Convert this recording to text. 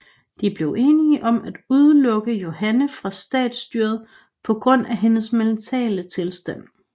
De blev enige om at udelukke Johanna fra statsstyret på grund af hendes mentale tilstand